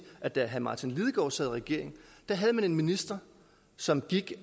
at da herre martin lidegaard sad i regering havde man en minister som gik